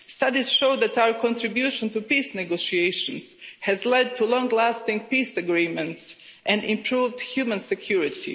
Studies show that our contribution to peace negotiations has led to long-lasting peace agreements and improved human security.